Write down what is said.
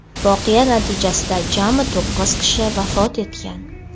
voqea natijasida jami to‘qqiz kishi vafot etgan.